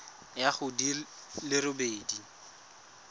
ya go di le robedi